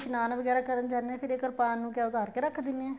ਜਦੋਂ ਇਸ਼ਨਾਨ ਵਗੈਰਾ ਕਰਨ ਜਾਂਦੇ ਹਾਂ ਫ਼ਿਰ ਇਹ ਕਰਪਾਨ ਨੂੰ ਕਿਹਾ ਉੱਤਾਰ ਕੇ ਰੱਖ ਦਿੰਨੇ ਆ